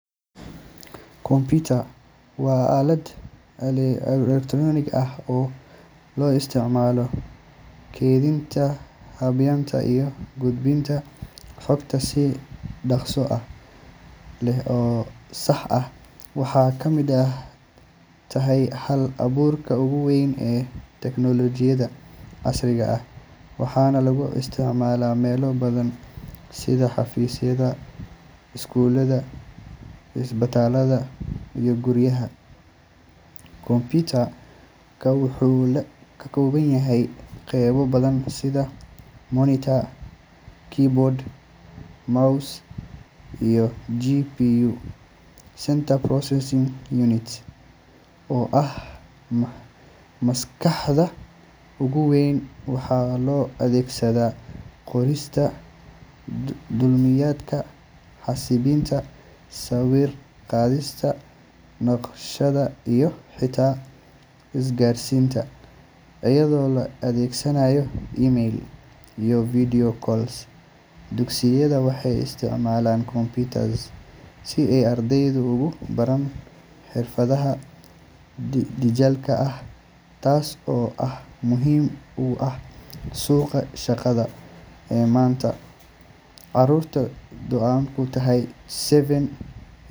Computer waa aalad elektaroonig ah oo loo isticmaalo kaydinta, habaynta, iyo gudbinta xogta si dhakhso leh oo sax ah. Waxay ka mid tahay hal-abuurka ugu weyn ee tiknoolajiyadda casriga ah, waxaana lagu isticmaalaa meelo badan sida xafiisyada, iskuulada, isbitaallada, iyo guryaha. Computer-ka wuxuu ka kooban yahay qaybo badan sida monitor, keyboard, mouse, iyo CPU (Central Processing Unit) oo ah maskaxda ugu weyn. Waxaa loo adeegsadaa qorista dukumiintiyada, xisaabinta, sawir qaadista, naqshadaynta, iyo xitaa isgaarsiinta iyadoo la adeegsanayo email iyo video calls. Dugsiyada waxay isticmaalaan computers si ay ardayda ugu baraan xirfadaha dijitaalka ah, taas oo muhiim u ah suuqa shaqada ee maanta. Carruurta da'doodu tahay seven.